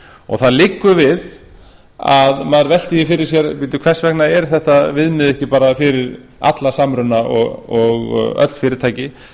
og það liggur við að maður velti því fyrir sér hvers vegna er þetta viðmið ekki fyrir alla samruna og öll fyrirtæki vegna